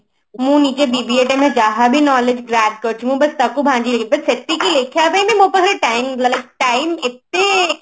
ମୁଁ ନିଜ ଯାହାବି knowledge grab କରିଛି ମୁଁ ବସ୍ ତାକୁ but ସେତିକି ଲେଖିବା ପାଇଁ ବି ମୋ ପାଖରେ time ମାନେ time ଏତେ